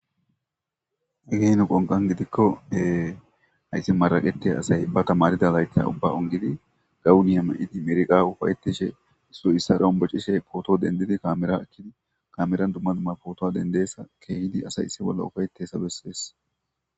Egeeno qonqan gidikkohee hayssi maragetiya asay ba tamarida layta ubba ongidi gawuniya ma'idi merqa ufayetishe issu issa rombocishe pooto dendidi kaamera ekkidi kameran dumma dumma pootoa dendeessa keehidi asay issi bolla ufayetessa bessees.